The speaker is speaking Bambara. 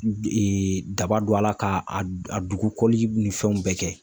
daba don a la k'a a dugukɔli ni fɛnw bɛɛ kɛ.